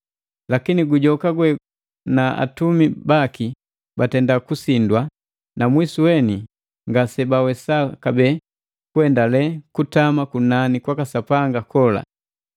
Lakini gujoka gwe na atumi baki batenda kusindwa na mwisu weni ngasebawesa kabee kuendale kutama kunani kwaka Sapanga kola.